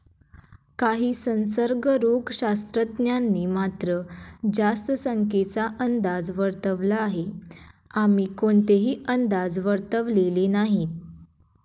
काही संसर्गरोगशास्त्रज्ञांनी मात्र, जास्त संख्येचा अंदाज वर्तवला आहे, आम्ही कोणतेही अंदाज वर्तवलेले नाहीत.